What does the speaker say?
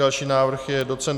Další návrh je doc.